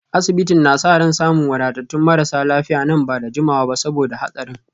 Asibitin na sa ran samun wadatattun marasa lafiya nan ba da jimawa ba saboda hatsarin